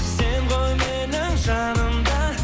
сен ғой менің жаным да